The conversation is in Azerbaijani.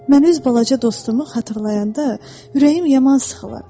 Mən öz balaca dostumu xatırlayanda, ürəyim yaman sıxılır.